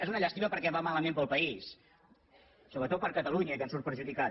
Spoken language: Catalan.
és una llàstima perquè va malament per al país sobretot per a catalunya que en surt perjudicada